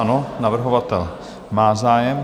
Ano, navrhovatel má zájem.